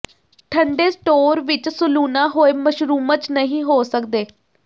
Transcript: ਠੰਡੇ ਸਟੋਰ ਵਿਚ ਸਲੂਣਾ ਹੋਏ ਮਸ਼ਰੂਮਜ਼ ਨਹੀਂ ਹੋ ਸਕਦੇ